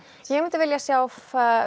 ég myndi vilja sjá